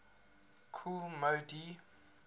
kool moe dee